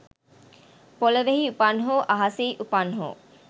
පොළොවෙහි උපන් හෝ අහසෙහි උපන් හෝ